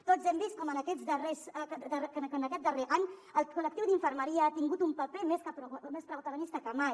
tots hem vist com en aquest darrer any el col·lectiu d’infermeria ha tingut un paper més protagonista que mai